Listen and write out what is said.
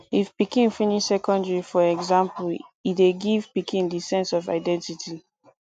if pikin finish secondary for example e dey give pikin di sense of identity